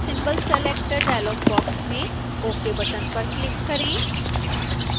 symbol selector dialogue box में ok button पर click करें